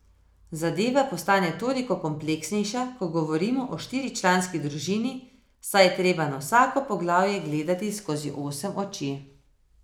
Zadeva postane toliko kompleksnejša, ko govorimo o štiričlanski družini, saj je treba na vsako poglavje gledati skozi osem oči.